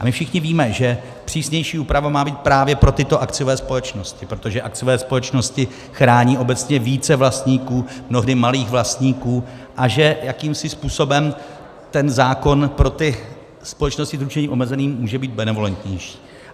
A my všichni víme, že přísnější úprava má být právě pro tyto akciové společnosti, protože akciové společnosti chrání obecně více vlastníků, mnohdy malých vlastníků, a že jakýmsi způsobem ten zákon pro ty společnosti s ručením omezeným může být benevolentnější.